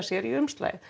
sér í umslagið